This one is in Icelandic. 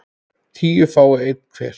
tíu fái einn hver